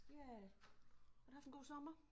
Ja har du haft en god sommer?